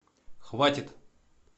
хватит